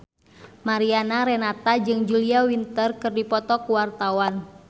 Mariana Renata jeung Julia Winter keur dipoto ku wartawan